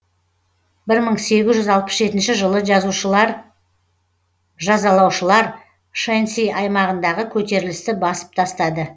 бір мың сегіз жүз алпыс жетінші жылы жазалаушылар шэньси аймағындағы көтерілісті басып тастады